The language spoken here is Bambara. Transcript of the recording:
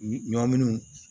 Ɲɔminiw